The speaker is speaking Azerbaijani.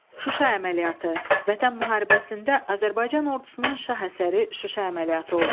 Şuşa əməliyyatı Vətən müharibəsində Azərbaycan ordusunun şah əsəri Şuşa əməliyyatı oldu.